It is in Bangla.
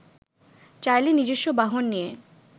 চাইলে নিজস্ব বাহন নিয়ে